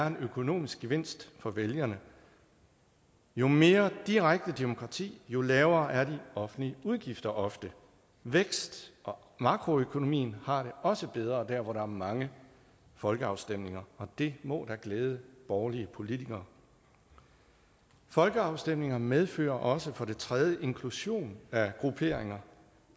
en økonomisk gevinst for vælgerne jo mere direkte demokrati jo lavere er de offentlige udgifter ofte væksten og makroøkonomien har det også bedre der hvor der er mange folkeafstemninger og det må da glæde borgerlige politikere folkeafstemninger medfører også for det tredje inklusion af grupperinger